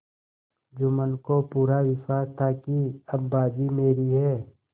जुम्मन को पूरा विश्वास था कि अब बाजी मेरी है